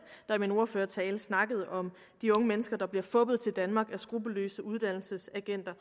der i min ordførertale snakkede om de unge mennesker der bliver fuppet til danmark af skruppelløse uddannelsesagenter